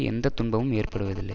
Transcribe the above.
எந்த துன்பமும் ஏற்படுவதில்லை